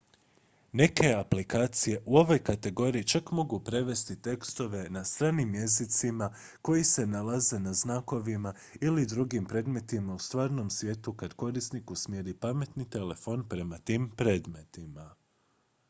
neke aplikacije u ovoj kategoriji čak mogu prevesti tekstove na stranim jezicima koji se nalaze na znakovima ili drugim predmetima u stvarnom svijetu kad korisnik usmjeri pametni telefon prema tim predmetima